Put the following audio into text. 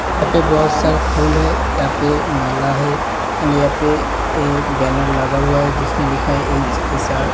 यहाँ पे बोहोत सारा फूल है। यहाँ पे माला है एण्ड यहाँ पे एक बैनर लगा हुआ है जिसमे लिखा हुआ है एच एस आर ।